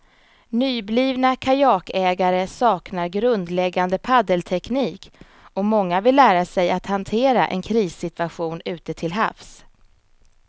Nyblivna kajakägare saknar grundläggande paddelteknik och många vill lära sig att hantera en krissituation ute till havs.